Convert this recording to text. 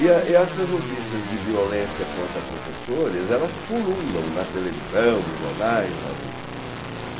E essas notícias de violência contra professores, elas pululam na televisão, nos jornais, nas revistas.